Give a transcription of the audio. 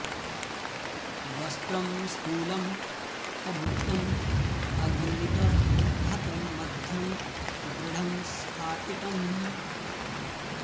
वस्त्रं स्थूलम् अभुक्तम् अग्निक हतं मध्यं दृढं स्फाटितम्